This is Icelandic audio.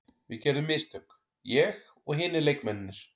Við gerðum mistök, ég og hinir leikmennirnir.